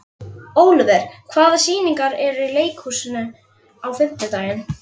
Olivert, hvaða sýningar eru í leikhúsinu á fimmtudaginn?